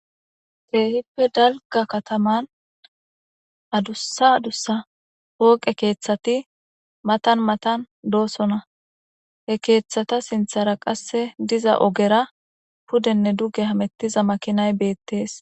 Teehippe dalga kataman adussa adussa wooqe keeththati matan matan doosona he keeththata sinthara qasse diza ogera pudenne dugge hamettiza makinay beettees.